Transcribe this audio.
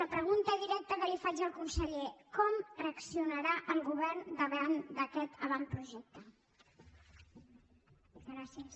la pregunta directa que li faig al conseller com reaccionarà el govern davant d’aquest avantprojecte gràcies